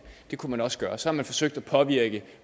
det kunne man også gøre så har man forsøgt at påvirke